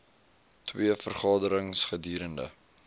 twee vergaderings gedurende